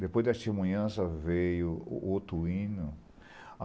Depois da testemunhança veio o outro hino.